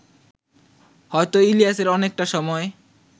হয়তো ইলিয়াসের অনেকটা সময়